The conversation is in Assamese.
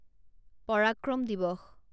পৰাক্ৰম দিৱস